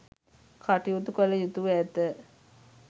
කටයුතු කළ යුතුව ඇත.